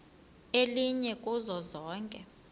elinye kuzo zonke